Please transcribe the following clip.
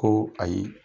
Ko ayi